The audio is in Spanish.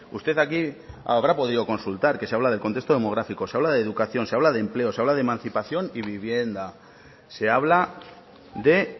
usted aquí habrá podido consultar que se habla del contexto demográfico se habla de educación se habla de empleo se habla de emancipación y vivienda se habla de